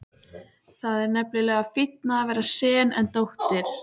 Það er nefnilega fínna að vera sen en dóttir.